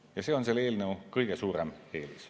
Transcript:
Ja see on selle eelnõu kõige suurem eelis.